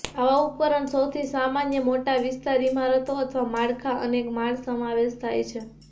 આવા ઉપકરણ સૌથી સામાન્ય મોટા વિસ્તાર ઇમારતો અથવા માળખાં અનેક માળ સમાવેશ થાય છે